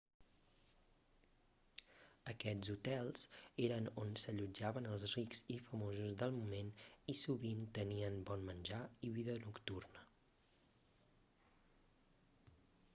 aquests hotels eren on s'allotjaven els rics i famosos del moment i sovint tenien bon menjar i vida nocturna